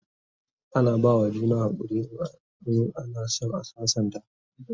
ana bawa juna hakuri in ana San a sassanta